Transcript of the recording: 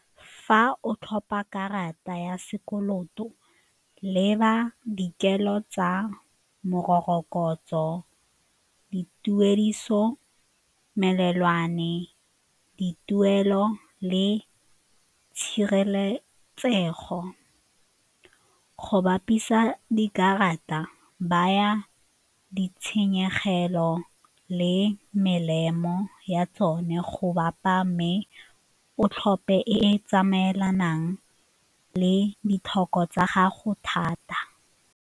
Fa o tlhopa karata ya sekoloto, leba dikelo tsa morokotso, dituediso, melelwane, dituelo le tshireletsego. Go bapisa dikarata, baya ditshenyegelo le melemo ya tsone go bapa mme o tlhophe e e tsamaelanang le ditlhoko tsa gago thata.